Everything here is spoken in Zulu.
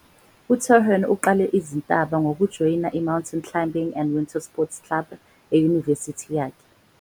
UTurhan uqale izintaba ngokujoyina i- "Mountain Climbing and Winter Sports Club" eyunivesithi yakhe.